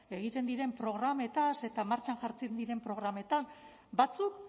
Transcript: egiten diren programez eta martxan jartzen diren programez batzuk